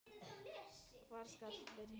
Hvar skal byrja.